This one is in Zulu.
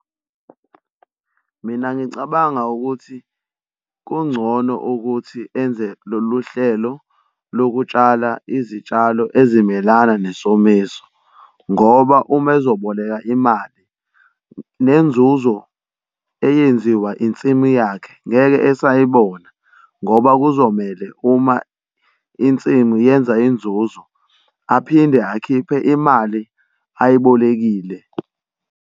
Mina ngicabanga ukuthi kungcono ukuthi enze lolu hlelo lokutshala izitshalo ezimelana nesomiso, ngoba uma ezoboleka imali nenzuzo eyenziwa insimu yakhe ngeke esayibona ngoba kuzomele uma insimu yenza inzuzo aphinde akhiphe imali ayibolekile.